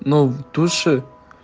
но в душе